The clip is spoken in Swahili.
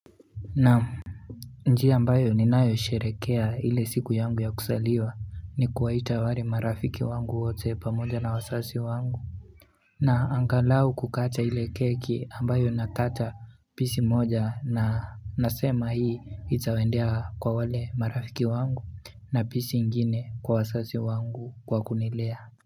Naam njia ambayo ni nayosherehekea ile siku yangu ya kuzaliwa ni kuwaita wale marafiki wangu wote pamoja na wazazi wangu na angalau kukata ile keki ambayo nakata pisi moja na nasema hii itawendea kwa wale marafiki wangu na pisi ingine kwa wazazi wangu kwa kunilea.